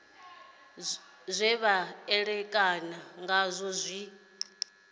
zwe vha ṋekana ngazwo zwi